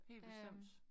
Helt bestemt